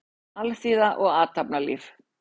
Alþýða og athafnalíf.